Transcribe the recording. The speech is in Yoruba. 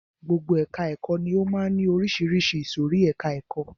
Gbogbo ẹka ẹ̀kọ́ ni ó máa ń ní oríṣiríṣi ìsòrí ẹka ẹ̀kọ́.